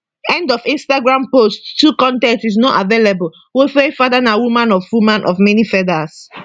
end of instagram post 2 con ten t is not available wofaifada na woman of woman of many feathers